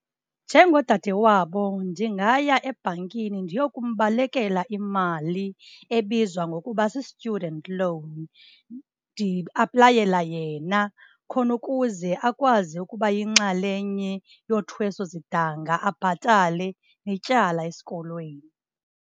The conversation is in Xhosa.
Njengodade wabo ndingaya ebhankini ndiyokumbolekela imali ebizwa ngokuba si-student loan, ndiaplayela yena khona ukuze akwazi ukuba yinxalenye yothweso sidanga, abhatale netyala esikolweni.